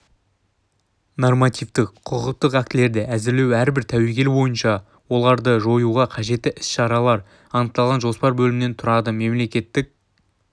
нормативтік құқықтық актілерді әзірлеу әрбір тәуекел бойынша оларды жоюға қажетті іс-шаралар анықталған жоспар бөлімнен тұрады мемлекеттік